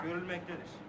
Görülməkdədir.